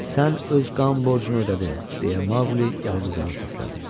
Sən öz qan borcunu ödədin, deyə Maqli Yalquzağa səsləndi.